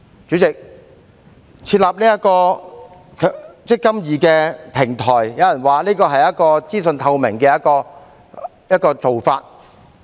主席，設立"積金易"平台，有人說這是資訊透明的做法。